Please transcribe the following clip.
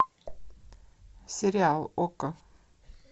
сериал окко